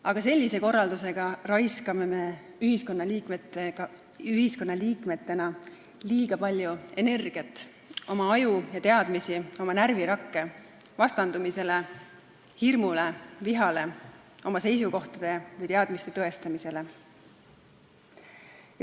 Aga sellise korraldusega raiskame me ühiskonnaliikmetena liiga palju energiat, ajusid, teadmisi ja närvirakke vastandumisele, hirmule, vihale, oma seisukohtade või teadmiste tõestamisele.